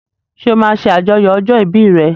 Ṣé o máa ṣe àjọyọ̀ ọjọ́ ìbí re?